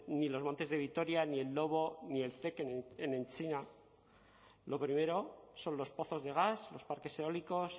ni los montes de vitoria ni el lobo ni el en china lo primero son los pozos de gas los parques eólicos